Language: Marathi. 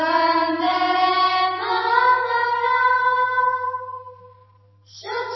वन्दे मातरम् वन्दे मातरम्